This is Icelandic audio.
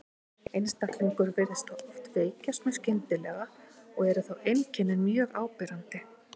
Einstaklingurinn virðist þá oft veikjast mjög skyndilega og eru þá einkennin mjög áberandi.